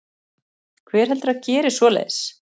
Hver heldurðu að geri svoleiðis?